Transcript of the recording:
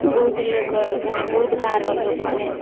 ବହୁତ ଲୁକର ମାନେ ବହୁତ ଗାଁ ର ଲୁକ ମାନେ